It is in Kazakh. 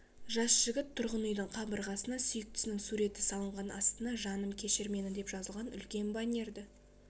жас жігіт тұрғын үйдің қабырғасына сүйіктісінің суреті салынған астына жаным кешір мені деп жазылған үлкен баннерді